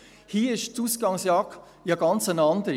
Hier ist die Ausgangslage ja ganz anders: